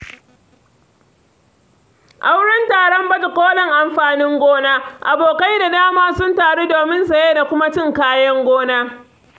A wurin taron baje-kolin amfanin gona, abokai da dama sun taru domin saye da kuma cin kayan gona.